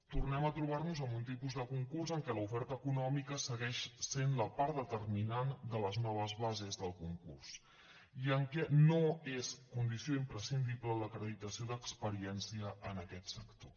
tornem a trobar nos amb un tipus de concurs en què l’oferta econòmica segueix sent la part determinant de les noves bases del concurs i en què no és condició imprescindible l’acreditació d’experiència en aquest sector